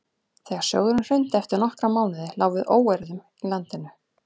þegar sjóðurinn hrundi eftir nokkra mánuði lá við óeirðum í landinu